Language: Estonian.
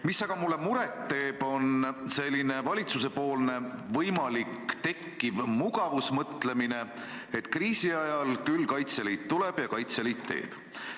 Mis aga mulle muret teeb, on selline valitsusepoolne võimalik mugavusmõtlemine, et küll kriisi ajal Kaitseliit tuleb ja Kaitseliit teeb.